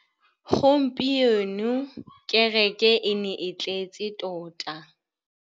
Gompieno kêrêkê e ne e tletse tota.